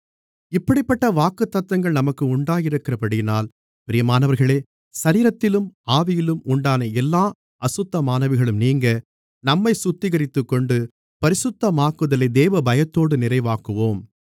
இப்படிப்பட்ட வாக்குத்தத்தங்கள் நமக்கு உண்டாயிருக்கிறபடியினால் பிரியமானவர்களே சரீரத்திலும் ஆவியிலும் உண்டான எல்லா அசுத்தமானவைகளும் நீங்க நம்மைச் சுத்திகரித்துக்கொண்டு பரிசுத்தமாகுதலை தேவபயத்தோடு நிறைவாக்குவோம்